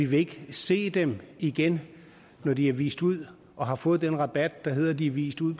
vil se dem igen når de er vist ud og har fået den rabat der hedder at de er vist ud